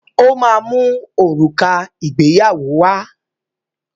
Ó máa mu òrùka ìgbéyàwó wá.